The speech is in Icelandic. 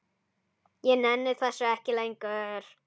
Ég nenni þessu ekki lengur.